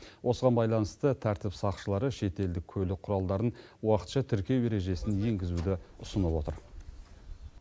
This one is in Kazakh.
осыған байланысты тәртіп сақшылары шетелдік көлік құралдарын уақытша тіркеу ережесін енгізуді ұсынып отыр